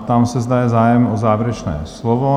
Ptám se, zda je zájem o závěrečné slovo?